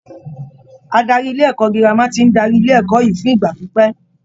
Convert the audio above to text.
Adarí ilé-ẹ̀kọ́ girama ti ń darí ilé ẹ̀kọ́ yìí fún ìgbà pípẹ́.